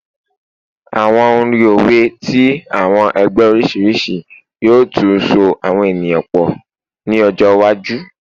Awọn orin owe ti awọn ẹgbẹ oriṣiriṣi yoo tun so eniyan pọ ni ọjọ iwaju